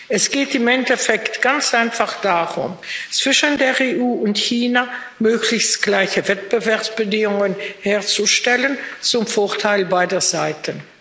Es geht im Endeffekt ganz einfach darum, zwischen der EU und China möglichst gleiche Wettbewerbsbedingungen herzustellen zum Vorteil beider Seiten.